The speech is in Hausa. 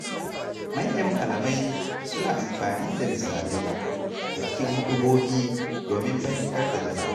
Manyan malamai suna amfani da misalai a cikin huɗubobi domin fahimtar da jama’a.